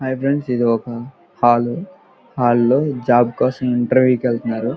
hi friends ఇది ఒక hall hall లో జాబ్ కోసం ఇంటర్వ్యూ కి వెళ్తున్నారు --